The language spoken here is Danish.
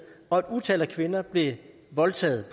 og et utal af kvinder bliver voldtaget